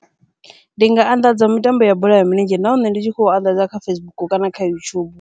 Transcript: Ndi nga anḓadza mitambo ya bola ya milenzhe, nahone ndi tshi khou anḓadza kha Facebook kana kha YouTube.